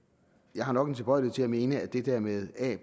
jeg har nok en tilbøjelighed mene at det der med a